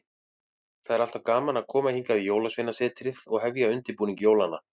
Það er alltaf gaman að koma hingað í Jólasveinasetrið og hefja undirbúning jólanna.